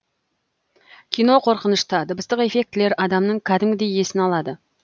кино қорқынышты дыбыстық эффектілер адамның кәдімгідей есін алады